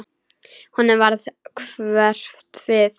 Honum varð hverft við.